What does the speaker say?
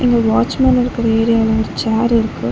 இங்க watchman இருக்குற ஏரியால ஒரு சேரிருக்கு .